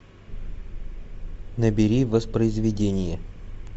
набери воспроизведение